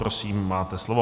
Prosím, máte slovo.